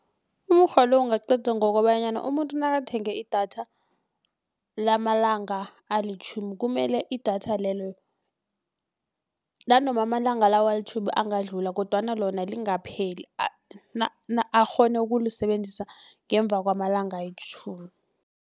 Umukghwa lo ungaqedwa ngokobanyana umuntu nakathenga idatha lamalanga alitjhumi kumele idatha lelo nanoma amalanga lawo ayitjhumi angadlula kodwana lona lingapheli akghone ukulisebenzisa ngemva kwamalanga ayitjhumi.